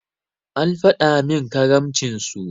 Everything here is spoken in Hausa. An faɗi min karamcin su.